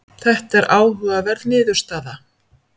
Þetta er áhugaverð niðurstaða.